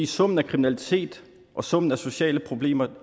summen af kriminalitet og summen af sociale problemer